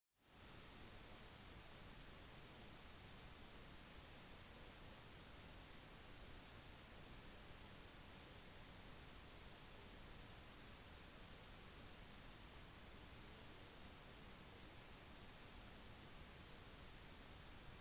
mange rytmer som kan sees i fysiologi og oppførsel er som regel helt avhengig av tilstedeværelsen av endogene sykluser og deres produksjon gjennom biologiske klokker